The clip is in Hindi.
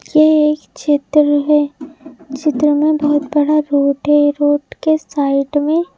ये एक क्षेत्र है क्षेत्र में बहुत बड़ा रोड है रोड के साइड में --